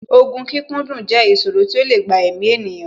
Ògùn kíkúndùn jẹ́ ìsòro tí ó lè gba èmi ènìyàn